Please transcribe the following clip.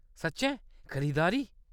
सच्चें ? खरीदारी ?